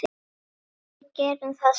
Og við gerum það sama.